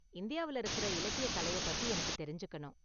இந்தியாவுல இருக்கற இலக்கிய கலையைப்பத்தி எனக்கு தெரிஞ்சுக்கணும்.